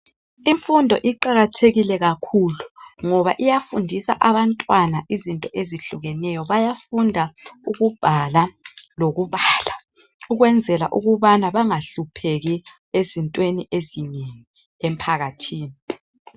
Imfundo iqakathekile kakhulu ngoba iyafundisa abantwana izinto ezihlukeneyo bayafunda ukubhala lokubala ukukwenzela ukubana bangahlupheki ezintweni ezinengi emphakathini